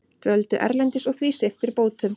Dvöldu erlendis og því sviptir bótum